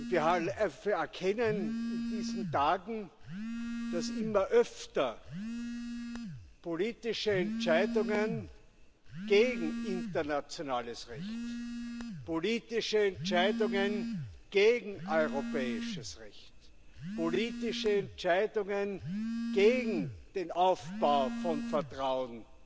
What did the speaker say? Wir erkennen in diesen Tagen, dass immer öfter politische Entscheidungen gegen internationales Recht, politische Entscheidungen gegen europäisches Recht, politische Entscheidungen gegen den Aufbau von Vertrauen